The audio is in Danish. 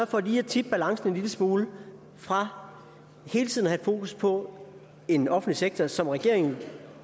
for lige at tippe balancen en lille smule fra hele tiden at have fokus på en offentlig sektor som regeringen